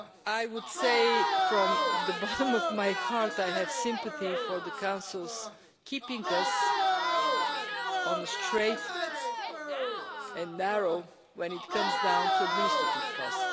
I would say, from the bottom of my heart, that I have sympathy for the Council in terms of keeping us on the straight and narrow when it comes to administrative cost.